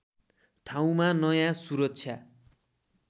ठाउँमा नयाँ सुरक्षा